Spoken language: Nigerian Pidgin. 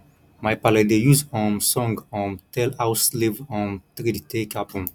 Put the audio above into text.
my paale dey use um song um tell how slave um trade take happen